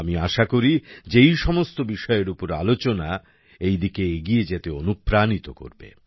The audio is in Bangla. আমি আশা করি যে এই সমস্ত বিষয়ের উপর আলোচনা এইদিকে এগিয়ে যেতে অনুপ্রাণিত করবে